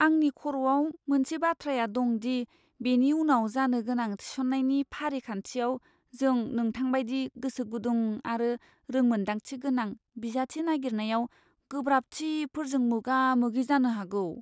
आंनि खर'आव मोनसे बाथ्राया दं दि बेनि उनाव जानो गोनां थिसननायनि फारिखान्थियाव जों नोंथांबायदि गोसोगुदुं आरो रोंमोनदांथि गोनां बिजाथि नागिरनायाव गोब्राबथिफोरजों मोगा मोगि जानो हागौ।